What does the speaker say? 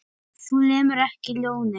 Þú lemur ekki ljónið.